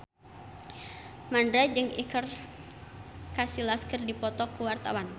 Mandra jeung Iker Casillas keur dipoto ku wartawan